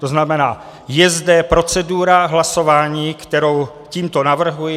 To znamená, je zde procedura hlasování, kterou tímto navrhuji.